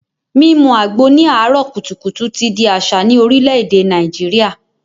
Mímu àgbo ní àáárò kùtùkùtù ti di àṣà ní Orílè-èdè Nàìjíríà